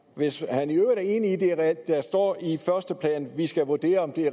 hvis han i øvrigt er enig i at det er reelt at der står i første plan at vi skal vurdere om de